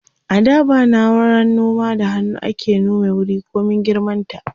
a da ba nauran noma da hannu ake nome wuri komin girman ta